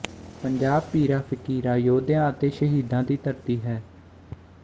ਪੰਜਾਬ ਪੀਰਾਂ ਫਕੀਰਾਂ ਯੋਧਿਆਂ ਅਤੇ ਸ਼ਹੀਦਾ ਦੀ ਧਰਤੀ ਹੈ